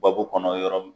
Babu kɔnɔ yɔrɔ min